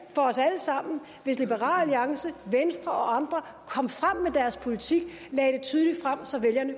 hvis liberal alliance venstre og andre kom frem med deres politik og lagde den tydeligt frem så vælgerne